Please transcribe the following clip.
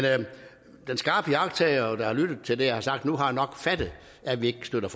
den skarpe iagttager der har lyttet til det jeg har sagt nu har nok fattet at vi ikke støtter